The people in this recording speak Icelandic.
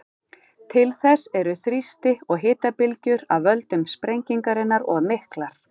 Til þess eru þrýsti- og hitabylgjur af völdum sprengingarinnar of miklar.